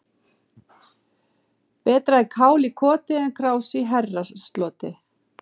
Betra er kál í koti en krás í herrasloti.